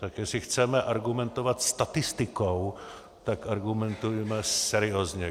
Tak jestli chceme argumentovat statistikou, tak argumentujme seriózně.